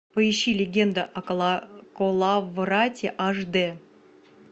поищи легенда о коловрате аш дэ